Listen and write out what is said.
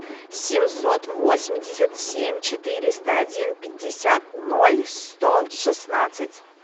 семьсот восемьдесят семь четыреста один пятьдесят ноль сто шестнадцать